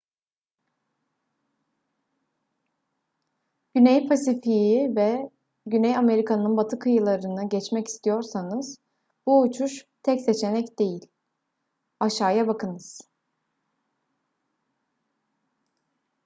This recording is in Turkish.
güney pasifik'i ve güney amerika'nın batı kıyılarını geçmek istiyorsanız bu uçuş tek seçenek değil. aşağıya bakınız